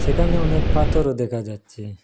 এখানে অনেক পাথরও দেখা যাচ্ছে।